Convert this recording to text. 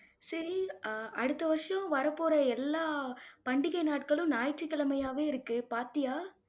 சரி, ஆஹ் அடுத்த வருஷம் வரப்போற எல்லா பண்டிகை நாட்களும், ஞாயிற்றுக்கிழமையாவே இருக்கு பார்த்தியா?